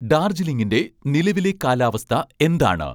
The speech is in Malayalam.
ഡാർജ്ലിങ്ങിൻ്റെ നിലവിലെ കാലാവസ്ഥ എന്താണ്